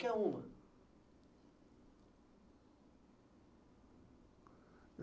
uma.